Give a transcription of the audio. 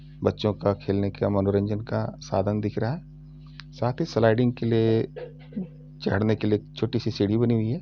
बच्चो का खेलने का मनोरंजन का साधन दिख रहा है। साथ ही स्लाइडिंग के लिए चढ़ने के लिए छोटी सी सीढ़ी बनी हुई है।